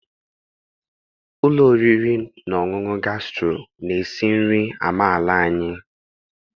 Ụlọ oriri na ọṅụṅụ Gasturo na-esi nri amaala anyị